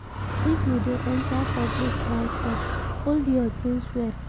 If you de enter public transport hold your things well